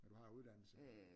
At du har uddannelse